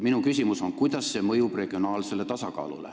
Minu küsimus on, kuidas see mõjub regionaalsele tasakaalule.